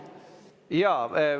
Jaa.